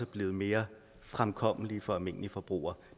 blevet mere fremkommelige for almindelige forbrugere